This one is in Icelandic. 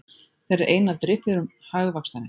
Þeir eru ein af driffjöðrum hagvaxtarins